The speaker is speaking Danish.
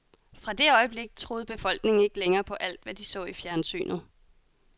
Fra det øjeblik troede befolkningen ikke længere på alt, hvad de så i fjernsynet.